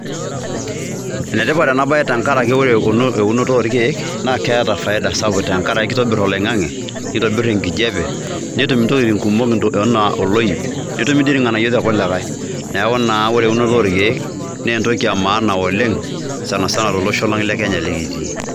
Ene tipat ena baye tenkaraki ore eunoto orkeek naa keeta faida sapuk tenkaraki kitobir oloing'ange, nitobir enkijape, netum intokitin kumok enaa oloip, netumi dii ilng'anayio torkulikae. Neeku naa ore eunoto orkeek naa entoki e maana oleng' sana sana tolosho lang' le Kenya lekitii.